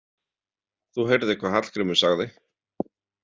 Þú heyrðir hvað Hallgrímur sagði.